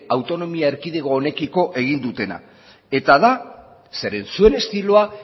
autonomia erkidego honekiko egin dutena eta da zeren zuen estiloa